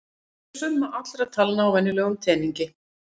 Hver er summa allra talna á venjulegum teningi?